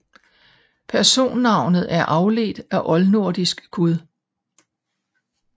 Personnavnet er afledt af oldnordisk guð